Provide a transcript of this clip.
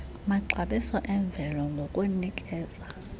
maxabiso emvelo ngokunikeza